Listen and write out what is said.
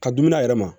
Ka dumuni a yɛrɛ ma